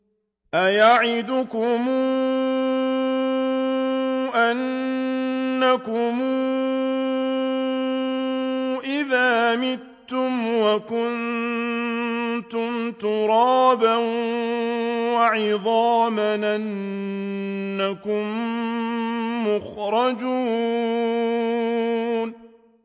أَيَعِدُكُمْ أَنَّكُمْ إِذَا مِتُّمْ وَكُنتُمْ تُرَابًا وَعِظَامًا أَنَّكُم مُّخْرَجُونَ